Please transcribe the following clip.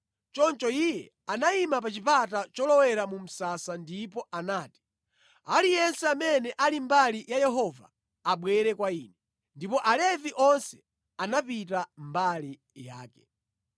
Choncho iye anayima pa chipata cholowera mu msasa ndipo anati, “Aliyense amene ali mbali ya Yehova abwere kwa ine.” Ndipo Alevi onse anapita mbali yake.